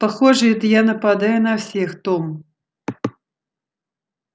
похоже это я нападаю на всех том